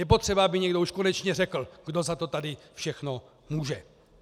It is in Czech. Je potřeba, aby někdo už konečně řekl, kdo za to tady všechno může.